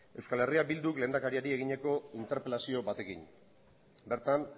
euskal herria bilduk lehendakariari egineko interpelazio batekin bertan